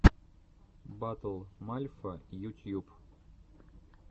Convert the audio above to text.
батл мальфа ютьюб